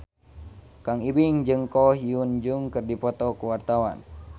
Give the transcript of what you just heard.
Kang Ibing jeung Ko Hyun Jung keur dipoto ku wartawan